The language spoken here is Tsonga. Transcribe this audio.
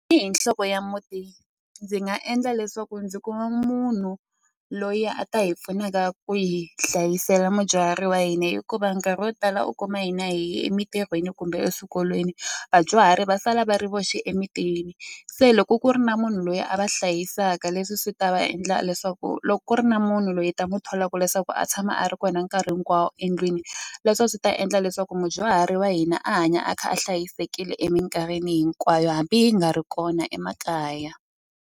hi nhloko ya muti ndzi nga endla leswaku ndzi kuma munhu loyi a ta hi pfunaka ku hi hlayisela mudyuhari wa hina hikuva nkarhi wo tala u kuma hina hi ye emitirhweni kumbe eswikolweni vadyuhari va sala va ri voxe emitini se loko ku ri na munhu loyi a va hlayisaka leswi swi ta va endla leswaku loko ku ri na munhu loyi hi ta mu tholaka leswaku a tshama a ri kona nkarhi hinkwawo endlwini leswa a swi ta endla leswaku mudyuhari wa hina a hanya a kha a hlayisekile emikarhini hinkwayo hambi hi nga ri kona emakaya.